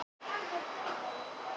Rauða eplið verður dreymið.